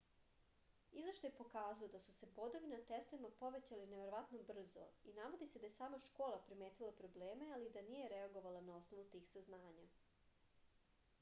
izveštaj je pokazao da su se bodovi na testovima povećali neverovatno brzo i navodi se da je sama škola primetila probleme ali da nije reagovala na osnovu tih saznanja